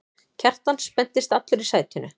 Kjartan spenntist allur í sætinu.